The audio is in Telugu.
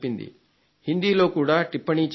హిందీలో కూడా టిప్పణీ చెప్పింది